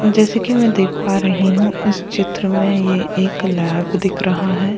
जैसे कि मैं देख पा रही हूं इस चित्र में ये एक लैब दिख रहा है।